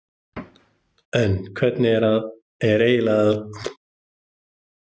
En hvernig er eiginlega að leikstýra hesti?